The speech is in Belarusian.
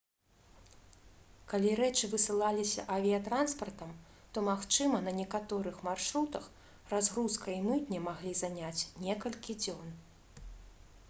калі рэчы высылаліся авіятранспартам то магчыма на некаторых маршрутах разгрузка і мытня маглі заняць некалькі дзён